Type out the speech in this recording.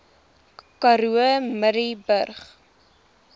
karoo murrayburg